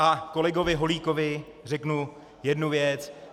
A kolegovi Holíkovi řeknu jednu věc.